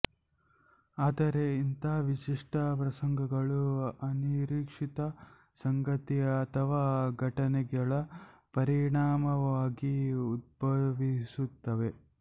ಆದರೆ ಇಂಥ ವಿಶಿಷ್ಟ ಪ್ರಸಂಗಗಳು ಅನಿರೀಕ್ಷಿತ ಸಂಗತಿ ಅಥವಾ ಘಟನೆಗಳ ಪರಿಣಾಮವಾಗಿ ಉದ್ಭವಿಸುತ್ತವೆ